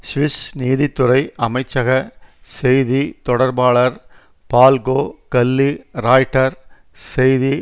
Swiss நீதித்துறை அமைச்சக செய்தி தொடர்பாளர் பால்கோ கல்லி ராய்ட்டர் செய்தி